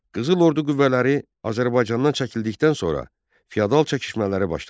Qızıl Ordu qüvvələri Azərbaycandan çəkildikdən sonra fiyadal çəkişmələri başladı.